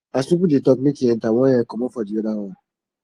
as pipo de talk make e entert one ear comot for di other one